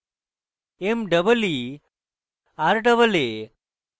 meeraa